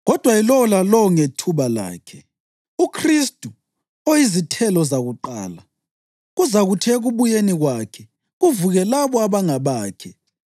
Kodwa yilowo lalowo ngethuba lakhe: UKhristu, oyizithelo zakuqala; kuzakuthi ekubuyeni kwakhe, kuvuke labo abangabakhe.